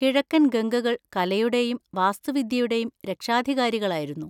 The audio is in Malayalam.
കിഴക്കൻ ഗംഗകൾ കലയുടെയും വാസ്തുവിദ്യയുടെയും രക്ഷാധികാരികളായിരുന്നു.